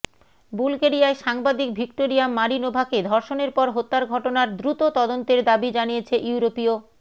বুলগেরিয়ায় সাংবাদিক ভিক্টোরিয়া মারিনোভাকে ধর্ষণের পর হত্যার ঘটনার দ্রুত তদন্তের দাবি জানিয়েছে ইউরোপীয়